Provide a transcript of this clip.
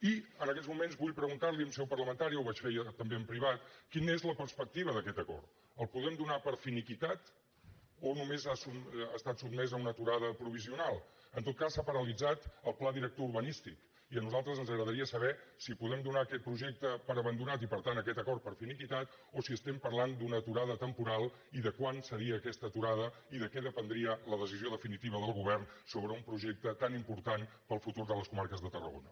i en aquests moments vull preguntar li en seu parlamentària ho vaig fer ja també en privat quina és la perspectiva d’aquest acord el podem donar per finiquitat o només ha estat sotmès a una aturada provisional en tot cas s’ha paralitzat el pla director urbanístic i a nosaltres ens agradaria saber si podem donar aquest projecte per abandonat i per tant aquest acord per finiquitat o si estem parlant d’una aturada temporal i de quant seria aquesta aturada i de què dependria la decisió definitiva del govern sobre un projecte tan important per al futur de les comarques de tarragona